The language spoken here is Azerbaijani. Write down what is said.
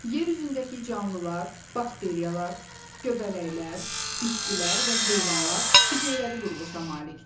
Yer üzündəki canlılar, bakteriyalar, göbələklər, bitkilər və heyvanlar hüceyrəvi quruluşa malikdir.